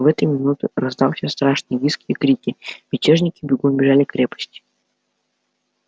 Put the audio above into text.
в эту минуту раздался страшный визг и крики мятежники бегом бежали к крепости